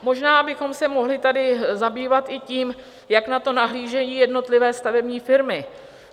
Možná bychom se mohli tady zabývat i tím, jak na to nahlížejí jednotlivé stavební firmy.